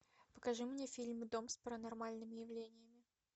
покажи мне фильм дом с паранормальными явлениями